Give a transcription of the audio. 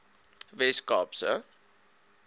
wes kaap se